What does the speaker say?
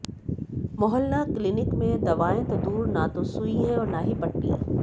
मोहल्ला क्लीनिक में दवाएँ तो दूर न तो सुई है और न ही पट्टी